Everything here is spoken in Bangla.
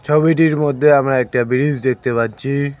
ছবিটির মধ্যে আমরা একটা ব্রিজ দেখতে পাচ্ছি।